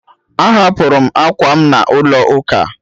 Ahapụrụ m ákwà m n'ụlọ ụka